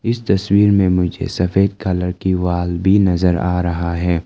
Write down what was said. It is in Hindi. इस तस्वीर में मुझे सफेद कलर की वॉल भी नजर आ रहा है।